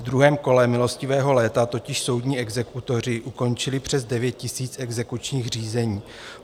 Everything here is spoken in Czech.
V druhém kole milostivého léta totiž soudní exekutoři ukončili přes 9 000 exekučních řízení.